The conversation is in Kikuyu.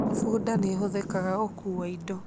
Bunda nĩ ĩhũthagĩrũo gũkuua indo.